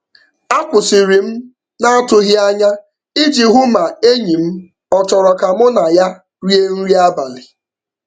A kwụsịrị m n'atụghị anya iji hụ ma enyi m ọ chọrọ ka mụ na ya rie nri abalị.